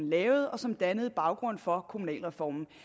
lavede og som dannede baggrund for kommunalreformen